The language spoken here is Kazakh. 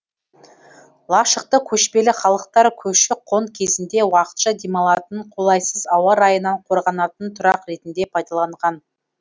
лашықты көшпелі халықтар көші қон кезінде уақытша демалатын қолайсыз ауа райынан қорғанатын тұрақ ретінде пайдаланған